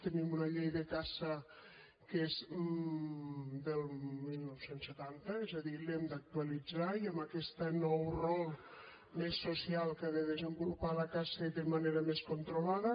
tenim una llei de caça que és del dinou setanta és a dir l’hem d’actualitzar i amb aquest nou rol més social que ha de desenvolupar la caça i de manera més controlada